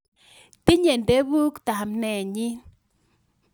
Tinye ndevuk tamnenyin